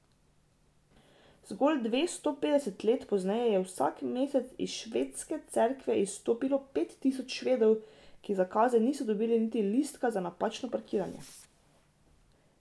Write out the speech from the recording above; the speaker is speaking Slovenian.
Zgolj dvesto petdeset let pozneje je vsak mesec iz Švedske cerkve izstopilo pet tisoč Švedov, ki za kazen niso dobili niti listka za napačno parkiranje.